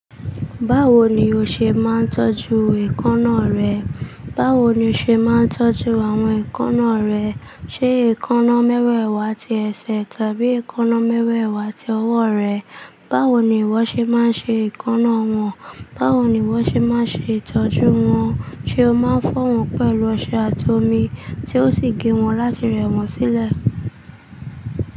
Báwo ni o ṣe máa ń tọ́jú èékánná rẹ? Báwo ni o ṣe máa ń tọ́jú àwọn èékánná rẹ? Ṣé èékánná mẹ́wẹ̀ẹ̀wá ti ẹsẹ̀ tàbí èékánná mẹ́wẹ̀ẹ̀wá ti ọwọ́ rẹ? Báwo ni ìwọ ṣe máa ń ṣe èékánná wọn? Báwo ni ìwọ ṣe máa ń ṣe ìtọ́jú wọn? Ṣé o máa ń fọ̀ wọ́n pẹ̀lú ọṣẹ àti omi tí ó sì gé wọn láti rẹ̀ wọ́n sílẹ̀?